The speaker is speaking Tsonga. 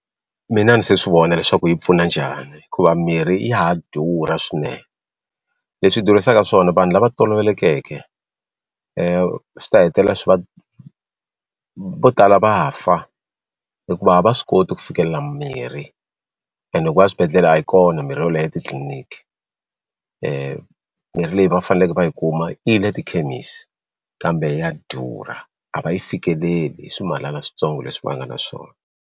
Mina a ni se swi vona leswaku yi pfuna njhani hikuva mirhi ya ha durha swinene leswi dhurisaka swona vanhu lava tolovelekeke swi ta hetelela swi va vo tala va fa hikuva a va swi koti ku fikelela mirhi and loko va ya swibedhlele a yi kona mirhi yo leha titliliniki mirhi leyi va faneleke va yi kuma yi le tikhemisi kambe ya durha a va yi fikeleli hi swimalana switsongo leswi va nga na swona.